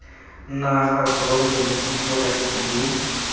naga gross domestic product mme